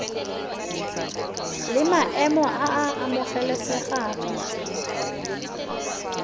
la maemo a a amogelesegang